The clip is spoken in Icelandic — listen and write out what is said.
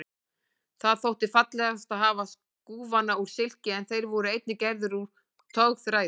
Það þótti fallegast að hafa skúfana úr silki en þeir voru einnig gerðir úr togþræði.